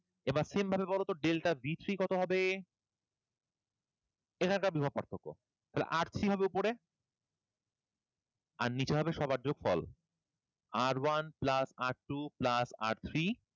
এবার same ভাবে বলো ত delta b three কতো হবে? এখানকার বিভব পার্থক্য তাহলে R three হবে উপরে আর নিচে হবে সবার যোগফল, R one plus R two plus R three.